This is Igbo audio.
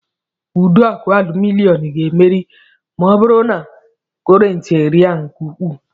Ụdọọkụ alụminịọm ga-erebi ma ọ bụrụ na kọrentị rịa nke ukwuu